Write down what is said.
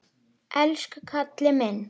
Elsku karlinn minn.